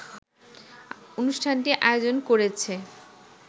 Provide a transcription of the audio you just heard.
অনুষ্ঠানটি আয়োজন করেছে